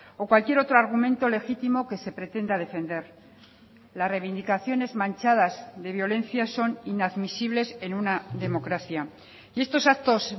o cualquier otro argumento legítimo que se pretenda defender las reivindicaciones manchadas de violencia son inadmisibles en una democracia y estos actos